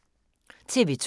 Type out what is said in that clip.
TV 2